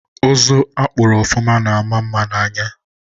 Uzu akpuru ofụma na ama mma anya